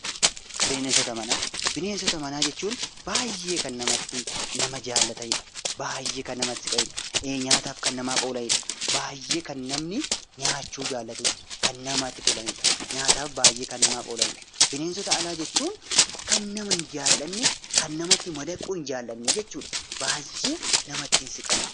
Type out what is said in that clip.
Bineensota manaa bineensota manaa jechuun baayyee kan namatti tolan kan nama jaallataniidha baayyee kan namatti si qaniidha nyaataaf kan namaaf oolaniidha baayyee kan namni nyaachuu jaallatuudha. Bineensota alaa jechuun baayyee kan nama hin jaallanne kan namatti madaquu hin jaallanneedha baayyee namatti hin siqan.